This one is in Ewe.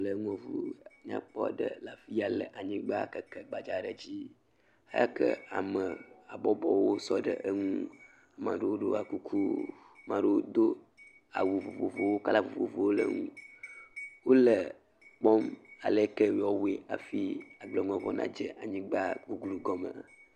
Le nuɖuƒe nyakpɔ aɖe le afi ya le anyigba keke gbadza aɖe dzi eke ame habɔbɔwo sɔ ɖe eŋu. Ame aɖewo ɖɔ kuku, ame aɖewo do awu vovovowo kɔla vovovowo le eŋu wo le ekpɔm ale kee woawɔe hafi agbleŋlɔŋua nadze anyigba guglu gɔme.